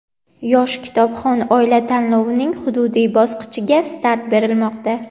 "Yosh kitobxon oila" tanlovining hududiy bosqichiga start berilmoqda.